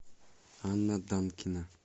анна данкина